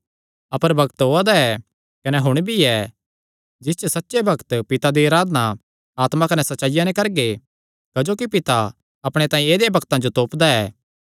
अपर बग्त ओआ दा ऐ कने हुण भी ऐ जिस च सच्चे भक्त पिता दी अराधना आत्मा कने सच्चाईया नैं करगे क्जोकि पिता अपणे तांई ऐदेयां भक्तां जो तोपदा ऐ